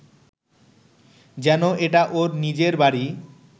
যেন এটা ওর নিজের বাড়ি